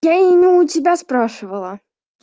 я и не у тебя спрашивала